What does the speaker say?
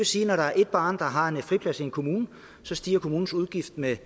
sige at når der er et barn der har en friplads i en kommune stiger kommunens udgift med